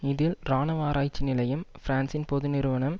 இதில் இராணுவ ஆராய்ச்சி நிலையம் பிரான்ஸின் பொது நிறுவனம்